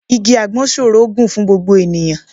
Igi àgbọn ṣòro gùn fún gbogbo ènìyàn